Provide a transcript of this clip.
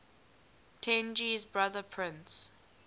tenji's brother prince